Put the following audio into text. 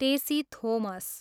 Tessy Thomas